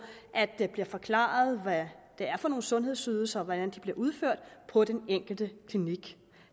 der bliver forklaret hvad det er for nogle sundhedsydelser og hvordan de bliver udført på den enkelte klinik